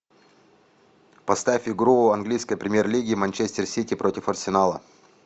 поставь игру английской премьер лиги манчестер сити против арсенала